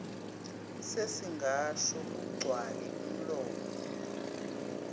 sesingasho kugcwale umlomo